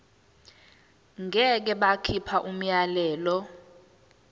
ngeke bakhipha umyalelo